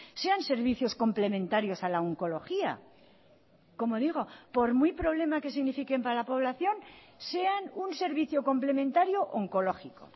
sean servicios complementarios a la oncología como digo por muy problema que signifiquen para la población sean un servicio complementario oncológico